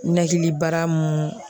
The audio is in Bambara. Ɲɛnakili baara mun